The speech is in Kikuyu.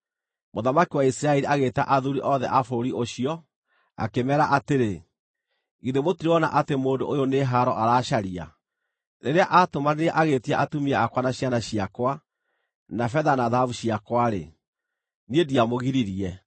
Mũthamaki wa Isiraeli agĩĩta athuuri othe a bũrũri ũcio, akĩmeera atĩrĩ, “Githĩ mũtirona atĩ mũndũ ũyũ nĩ haaro aracaria! Rĩrĩa aatũmanire agĩĩtia atumia akwa na ciana ciakwa, na betha na thahabu ciakwa-rĩ, niĩ ndiamũgiririe.”